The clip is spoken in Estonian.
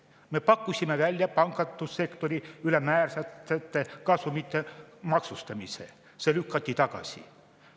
Me pakkusime välja pangandussektori ülemääraste kasumite maksustamise, see lükati tagasi.